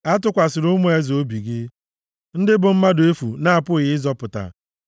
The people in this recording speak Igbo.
Atụkwasịla ụmụ eze obi gị, ndị bụ mmadụ efu na-apụghị ịzọpụta.